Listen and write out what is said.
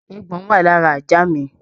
Eégbọn wà lára ajá mi